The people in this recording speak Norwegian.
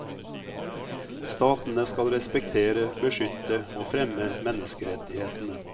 Statene skal respektere, beskytte og fremme menneskerettighetene.